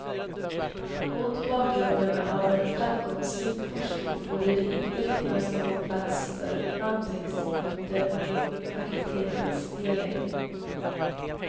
Mot bakgrunden av en framgångsrik forskning borde det inte finnas någon plats för vandringsmyter om fakultetens nedläggning.